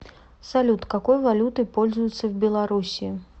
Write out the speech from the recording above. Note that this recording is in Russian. салют какой валютой пользуются в белоруссии